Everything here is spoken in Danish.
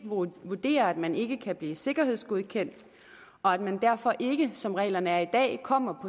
vurderer at man ikke kan blive sikkerhedsgodkendt og at man derfor ikke som reglerne er i dag kommer